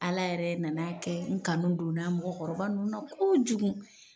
Ala yɛrɛ nana kɛ n kanu don na mɔgɔ kɔrɔba ninnu na kojugu.